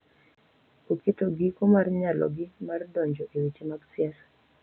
Oketo giko mar nyalogi mar donjo e weche siasa.